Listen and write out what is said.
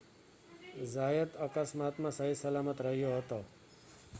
ઝાયત અકસ્માતમાં સહીસલામત રહ્યો હતો